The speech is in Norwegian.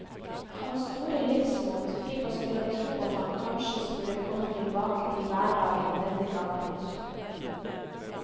Hans store livsmot fikk oss til å tro at han kanskje skulle komme tilbake til hverdagen denne gangen også.